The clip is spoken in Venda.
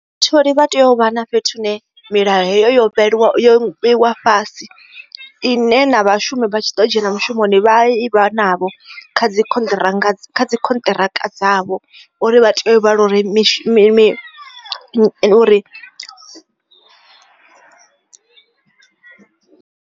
Vhatholi vha tea u vha na fhethu hune milayo heyo yo yo vheiwa fhasi ine na vhashumi vha tshi ḓo dzhena mushumoni vha ivha navho kha dzi contract contract dzavho uri vha tea uri mishi mimi uri.